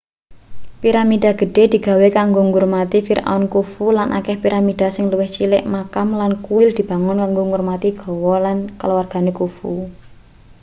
piramida gedhe digawe kanggo ngurmati firaun khufu lan akeh piramida sing luwih cilik makam lan kuil dibangun kanggo ngurmati garwa lan kaluwargane khufu